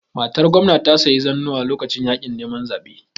Matar Gwamna ta sayi zannuwa lokacin yaƙin neman zabe